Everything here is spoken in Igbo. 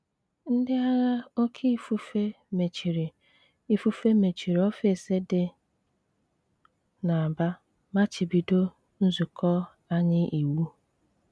Ndị agha oké ifufe mechiri ifufe mechiri ọfis dị n’Aba machibido nzukọ anyị iwu.